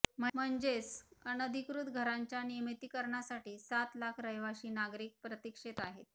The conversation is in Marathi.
म्हणजेच अनधिकृत घरांच्या नियमितीकरणासाठी सात लाख रहिवाशी नागरिक प्रतीक्षेत आहेत